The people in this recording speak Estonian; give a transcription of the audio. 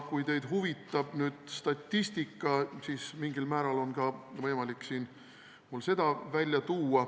Kui teid huvitab statistika, siis mingil määral on võimalik seda välja tuua.